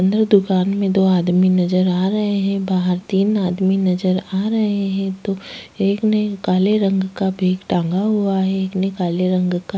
अंदर दुकान में दो आदमी नजर आ रहे हैं। बाहर तीन आदमी नजर आ रहे हैं। दो एक ने काले रंग का बैग टांगा हुआ है एक ने काले रंग का --